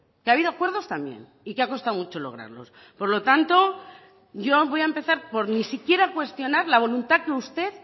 que ha habido acuerdos también y que ha costado mucho lograrlos por lo tanto yo voy a empezar por ni siquiera cuestionar la voluntad que usted